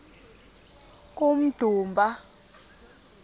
kummdumba